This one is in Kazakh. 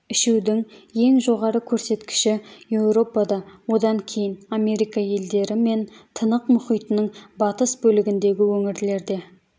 ішудің ең жоғары көрсеткіші еуропада одан кейін америка елдері мен тынық мұхитының батыс бөлігіндегі өңірлерде